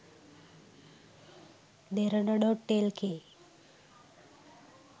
derana.lk